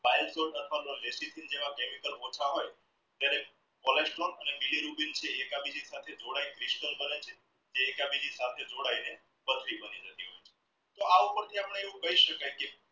chemical જ્યારેહ cholesterol અને તે એકબીજી સાથે જોડાઈ ને પથરી બની જતિ હોય છે.